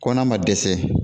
Ko n'a ma dɛsɛ